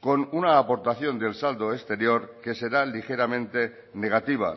con una aportación del saldo exterior que será ligeramente negativa